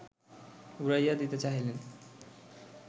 উড়াইয়া দিতে চাহিলেন